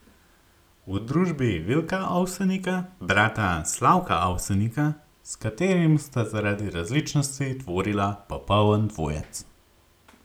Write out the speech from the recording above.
V družbi Vilka Ovsenika, brata Slavka Avsenika, s katerim sta zaradi različnosti tvorila popoln dvojec.